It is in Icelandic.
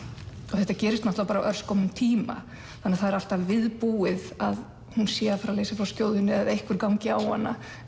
þetta gerist bara á örskömmum tíma það er alltaf viðbúið að hún sé að fara að leysa frá skjóðunni eða einhver gangi á hana